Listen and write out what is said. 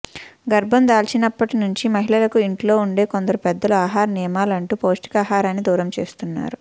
గర్భం దాల్చినప్పటి నుంచి మహిళలకు ఇంట్లో ఉండే కొందరు పెద్దలు ఆహార నియమాలంటూ పౌష్టికాహారాన్ని దూరం చేస్తున్నారు